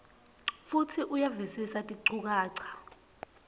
futsi uyavisisa tinchukaca